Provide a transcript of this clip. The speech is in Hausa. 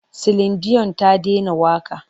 Silin diyon ta dena waƙa.